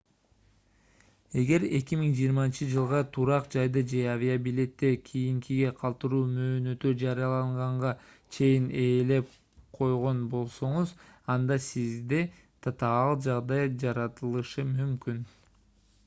эгер 2020-жылга турак жайды же авиабилетти кийинкиге калтыруу мөөнөтү жарыяланганга чейин ээлеп койгон болсоңуз анда сизде татаал жагдай жаралышы мүмкүн